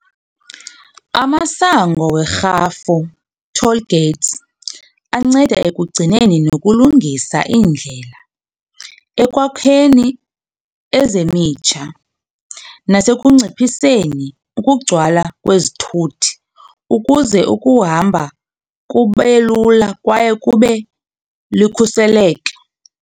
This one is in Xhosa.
Amasango werhafu, toll gates, anceda ekugcineni nokulungisa iindlela, ekwakheni ezemitsha nasekunciphiseni ukugcwala kwezithuthi ukuze ukuhamba kube lula kwaye kube likhuseleke.